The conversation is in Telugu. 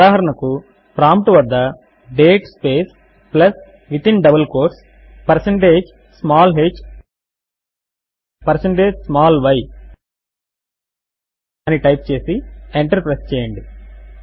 ఉదాహరణకు ప్రాంప్ట్ వద్ద date space plus within double quotes percentage small h percentage small y అని టైప్ చేసి ఎంటర్ ప్రెస్ చేయండి